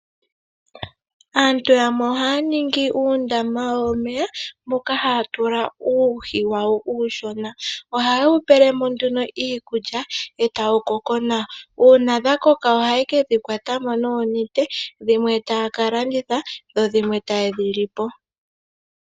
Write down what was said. Aantu yamwe oha ya ningi uundama womeya moka haya tula uuhi wa wo uushona. Oha ya wu pele mo ihe iikulya eta wu koko nawa. Una dha koka oha wu kwata mo noonete dhimwe taya ka landitha dho dhimwe taye dhi li po.